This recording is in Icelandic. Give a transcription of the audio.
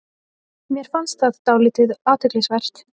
Mér fannst það dálítið athyglisvert